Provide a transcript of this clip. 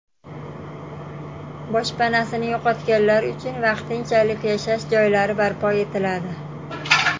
Boshpanasini yo‘qotganlar uchun vaqtinchalik yashash joylari barpo etiladi.